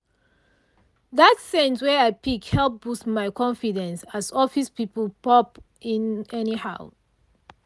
that scent wey i pick help boost my confidence as office people pop in anyhow.